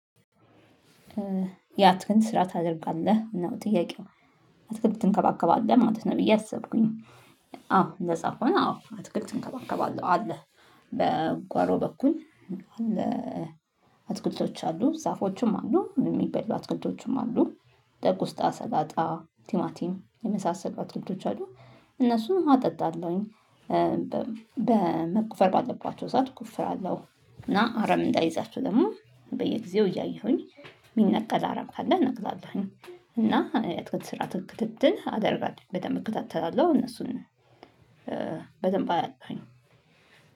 የአትክልት ስራ ታደርጋለህ? ነው ጥያቄው። አትክልት ትንከባከባለህ ማለት ነው ብዬ አሰብኩኝ። አዎ እንደዛ ከሆነ አዎ አትክልት እንከባከባለሁ። አለ በጓሮ በኩል አትክልቶች አሉ፣ ዛፎችም አሉ፣ የሚበሉ አትክልቶችም አሉ፣ እንደ ቆስጣ፣ ሰላጣ፣ ቲማቲም የመሳሰሉ አትክልቶች አሉ። እነሱን ውሃ አጠጣለሁኝ። በመቆፈር ባለባቸው ሰዓት እቆፍራለሁ እና አረም እንዳይዛቸው ደግሞ በየጊዜው እያየሁኝ የሚነቀል አረም ካለ እነቅላለሁኝ እና የአትክልት ስርዓተ ክትትል አደርጋለሁኝ። በደንብ እከታተላለሁ እነሱን በደንብ አያለሁኝ።